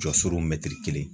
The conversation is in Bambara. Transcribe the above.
Jɔsiurun mɛtiri kelen